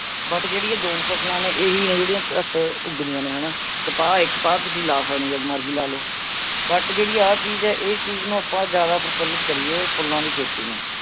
but ਜਿਹੜੀ ਇਹ ਦੋ ਫ਼ਸਲਾਂ ਨੇ ਇਹ ਹੀ ਹੈ ਜਿਹੜੀ ਘੱਟ ਉਗਦੀ ਹੈ ਹਣਾ ਕਪਾਹ ਹੀ ਹੈ ਕਪਾਹ ਤੁਸੀਂ ਲਾ ਸਕਦੇ ਹੋ ਜਦ ਮਰਜੀ ਲਗਾ ਲੋ. but ਜਿਹੜੀ ਆਹ ਚੀਜ ਹੈ ਇਸ ਚੀਜ਼ ਨੂੰ ਆਪਾਂ ਜਾਂਦਾ ਪ੍ਰਫੁੱਲਿਤ ਕਰੀਏ, ਫੁਲਾਂ ਦੀ ਖੇਤੀ ਨੂੰ